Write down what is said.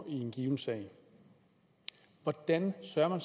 en given sag hvordan sørger